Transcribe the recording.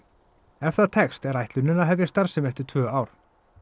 ef það tekst er ætlunin að hefja starfsemi eftir tvö ár